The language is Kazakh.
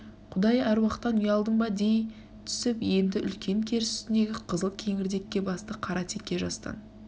құдай әруақтан ұялдың ба дей түсіп енді үлкен керіс үстіндегі қызыл кеңірдекке басты қара теке жастан